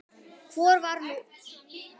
Hvor er nú betri?